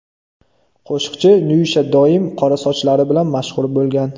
Qo‘shiqchi Nyusha doim qora sochlari bilan mashhur bo‘lgan.